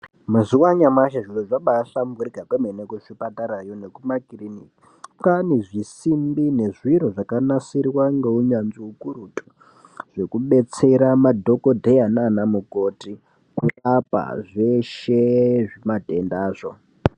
Mazuvaanaya anyamashe zvinhu zvabahlamburika kwemene muzvipatara nekumakliniki ,kwaane zvisimbi nezviro zvakanasirwa ngehunyanzvi hukurutu hwekubetsere madhokodheya naana mukoti kurapa zveshe zvimatendazvo.